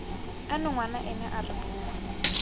ano ngwana ena re boa